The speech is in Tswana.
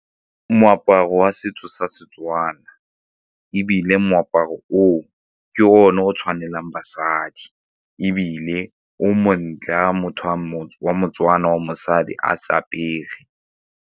Moaparo wa setso sa Setswana ebile moaparo oo ke one o tshwanelang basadi ebile o montle fa wa motho wa moTswana wa mosadi a se apere.